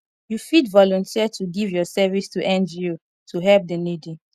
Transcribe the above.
you fit volunteer to give your service to ngo to help the needy